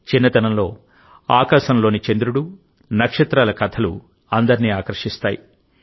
చిన్నతనంలో ఆకాశంలోని చంద్రుడు నక్షత్రాల కథలు అందరినీ ఆకర్షిస్తాయి